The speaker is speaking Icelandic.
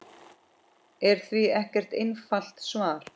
er því ekkert einfalt svar.